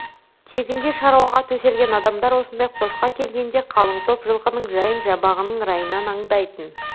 тегінде шаруаға төселген адамдар осындай қосқа келгенде қалың топ жылқының жайын жабағының райынан аңдайтын